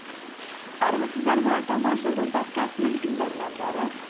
армысыздар ма тамаша жыл подкастының тыңдармандары